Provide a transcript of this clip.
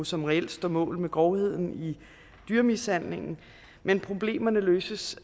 som reelt står mål med grovheden i dyremishandlingen men problemerne løses